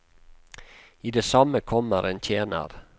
I det samme kommer en tjener.